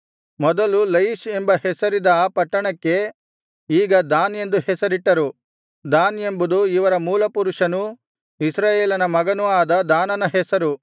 ಮೊದಲು ಲಯಿಷ್ ಎಂಬ ಹೆಸರಿದ್ದ ಆ ಪಟ್ಟಣಕ್ಕೆ ಈಗ ದಾನ್ ಎಂದು ಹೆಸರಿಟ್ಟರು ದಾನ್ ಎಂಬುದು ಇವರ ಮೂಲಪುರುಷನೂ ಇಸ್ರಾಯೇಲನ ಮಗನೂ ಆದ ದಾನನ ಹೆಸರು